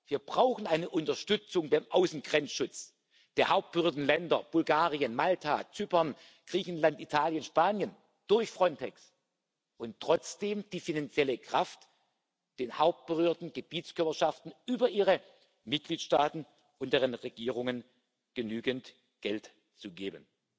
Wir brauchen eine Unterstützung für den Außengrenzschutz der hauptberührten Länder Bulgarien, Malta, Zypern, Griechenland, Italien, Spanien durch Frontex, und trotzdem die finanzielle Kraft, den hauptberührten Gebietskörperschaften über ihre Mitgliedstaaten und deren Regierungen genügend Geld zu geben.